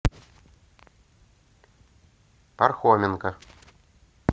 пархоменко